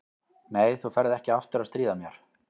Nei, þú ferð ekki aftur að stríða mér.